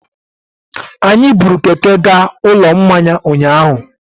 Anyị buru Keke gaa Ụlọ Mmanya ụnyahụ.